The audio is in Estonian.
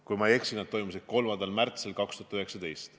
Kui ma ei eksi, need toimusid 3. märtsil 2019.